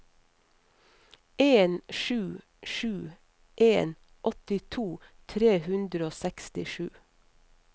en sju sju en åttito tre hundre og sekstisju